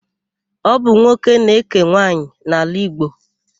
Ọ bụ nwoke na-ékè nwaanyị n'ala Igbo.